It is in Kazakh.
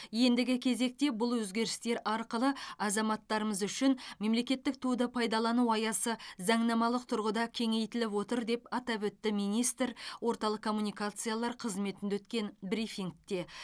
ендігі кезекте бұл өзгерістер арқылы азаматтарымыз үшін мемлекеттік туды пайдалану аясы заңнамалық тұрғыда кеңейтіліп отыр деп атап өтті министр орталық коммуникациялар қызметінде өткен брифингте